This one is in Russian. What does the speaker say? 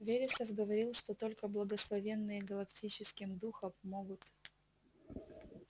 вересов говорил что только благословенные галактическим духом могут